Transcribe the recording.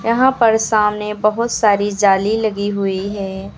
यहां पर सामने बहोत सारी जाली लगी हुई है।